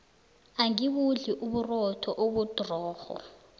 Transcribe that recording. angibudli uburotho obudrorho